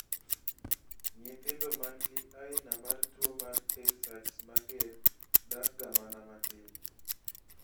nyithindo manigi anina mar tuwo mar tay sachs mager dakga mana matin